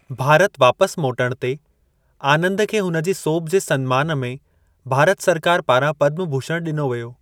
भारत वापसि मोटणु ते, आनंद खे हुन जी सोभ जे सन्मान में भारत सरकार पारां पद्म भूषण ॾिनो वियो।